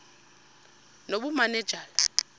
nobumanejala